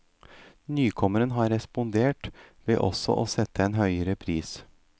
Nykommeren har respondert ved også å sette en høyere pris.